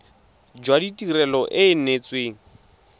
jwa tirelo e e neetsweng